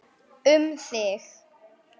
Um þig.